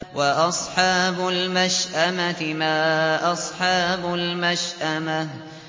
وَأَصْحَابُ الْمَشْأَمَةِ مَا أَصْحَابُ الْمَشْأَمَةِ